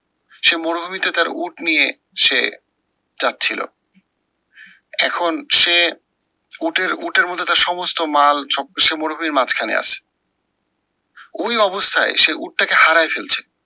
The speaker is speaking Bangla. সে মরুভূমিতে তার উট নিয়ে সে যাচ্ছিলো। এখন সে উটের উটের মধ্যে তার সমস্ত মাল সব কিছু মরুভূমির মাঝখানে আছে। ওই অবস্থায় সে উটটাকে হারায় ফেলছে।